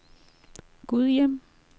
Gudhjem